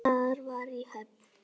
Það var í Höfn.